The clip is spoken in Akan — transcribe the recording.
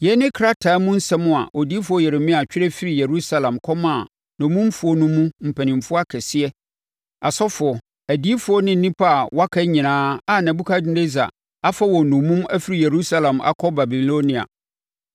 Yei ne krataa mu nsɛm a odiyifoɔ Yeremia twerɛ firii Yerusalem kɔmaa nnommumfoɔ no mu mpanimfoɔ nkaeɛ, asɔfoɔ, adiyifoɔ ne nnipa a wɔaka nyinaa a Nebukadnessar afa wɔn nnommum afiri Yerusalem akɔ Babilonia.